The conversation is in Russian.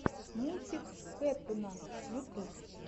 мультик кэттуна ютуб